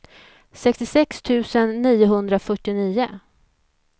sextiosex tusen niohundrafyrtionio